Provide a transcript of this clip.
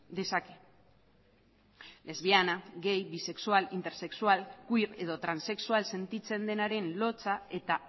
dezake lesbiana gay bisexual intersexual queer edo transexual sentitzen denaren lotsa eta